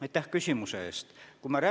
Aitäh küsimuse eest!